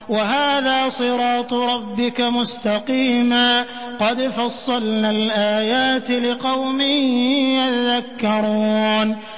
وَهَٰذَا صِرَاطُ رَبِّكَ مُسْتَقِيمًا ۗ قَدْ فَصَّلْنَا الْآيَاتِ لِقَوْمٍ يَذَّكَّرُونَ